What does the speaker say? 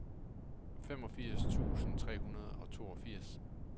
femogfirs tusind tre hundrede og toogfirs